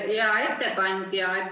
Hea ettekandja!